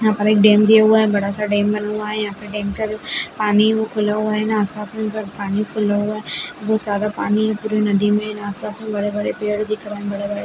यहाँ पे एक डैम दिया हुआ है बड़ा सा डैम बन रहा है यहाँ पे डैम पर पानी वो खुला हुआ है ना पानी खुला हुआ बहोत ज्यादा पानी है पूरी नदी में और आस पास बड़े बड़े पेड़ दिख रहे हैं बड़े बड़े --